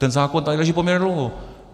Ten zákon tady leží poměrně dlouho.